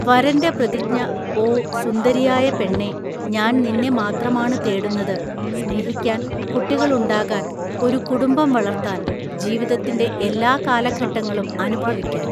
വരന്റെ പ്രതിജ്ഞ ഓ, സുന്ദരിയായ പെണ്ണേ, ഞാൻ നിന്നെ മാത്രമാണ് തേടുന്നത്, സ്നേഹിക്കാൻ, കുട്ടികൾ ഉണ്ടാകാൻ, ഒരു കുടുംബം വളർത്താൻ, ജീവിതത്തിന്റെ എല്ലാ കാലഘട്ടങ്ങളും അനുഭവിക്കാൻ.